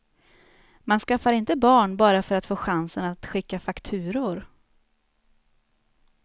Man skaffar inte barn bara för att få chansen att skicka fakturor.